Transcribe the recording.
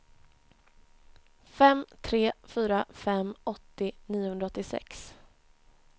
fem tre fyra fem åttio niohundraåttiosex